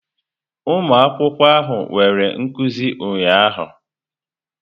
Ụmụ akwụkwọ ahụ nwere nkuzi ụnyahụ.